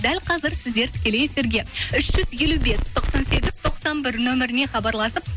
дәл қазір сіздер тікелей эфирге үш жүз елу бес тоқсан сегіз тоқсан бір номеріне хабарласып